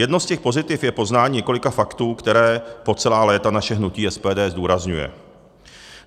Jedno z těch pozitiv je poznání několika faktů, která po celá léta naše hnutí SPD zdůrazňuje.